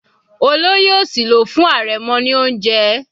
Olóyè òsì ló fún arẹmọ ní oúnjẹ.